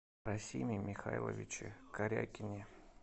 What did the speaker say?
расиме михайловиче корякине